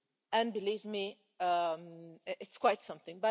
And believe me, it's quite something.